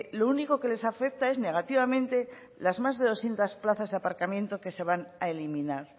lo único que les afecta es negativamente las más de doscientos plazas de aparcamiento que se van a eliminar